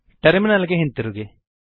terminal ಗೆ ಹಿಂದಿರುಗಿ